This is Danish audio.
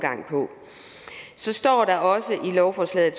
så står der også i lovforslaget